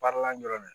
Baaralan dɔrɔn de don